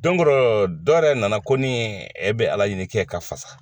Dɔnkorɔ dɔw yɛrɛ nana ko e bɛ ala ɲini kɛ ka fasa